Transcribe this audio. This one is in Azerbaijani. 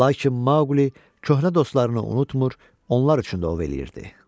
Lakin Maqli köhnə dostlarını unutmır, onlar üçün də ov eləyirdi.